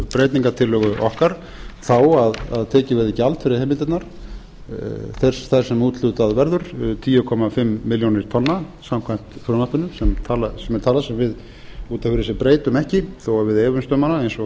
aðra breytingartillögu okkar þá að tekið verði gjald fyrir heimildirnar þær sem úthlutað verður tíu komma fimm milljónir tonna samkvæmt frumvarpinu sem er tala sem við út af fyrir sig breytum ekki þó við efumst um hana eins og